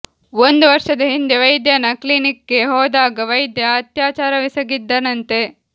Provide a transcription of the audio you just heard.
ಒಂದು ವರ್ಷದ ಹಿಂದೆ ವೈದ್ಯನ ಕ್ಲಿನಿಕ್ ಗೆ ಹೋದಾಗ ವೈದ್ಯ ಅತ್ಯಾಚಾರವೆಸಗಿದ್ದನಂತೆ